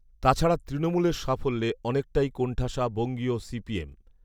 তাছাড়া তৃণমূলের সাফল্যে অনেকটাই কোণঠাসা বঙ্গীয় সিপিএম